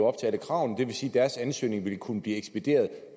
op til alle kravene det vil sige at deres ansøgning vil kunne blive ekspederet